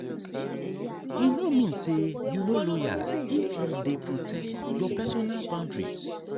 e no mean say you no loyal if you dey protect your personal boundaries.